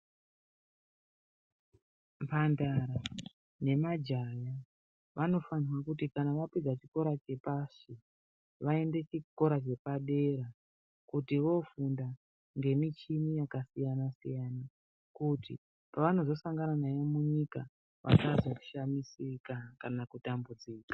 Mhandara nemajaya vanofanirwe kuti kana vapedze chikora chepashi vaende chikora chepadera kuti vofumda ngemuchini yakasiyana siyana kuti pavanozosangana nayo munyika vasazoshamisika kana kutambudzika.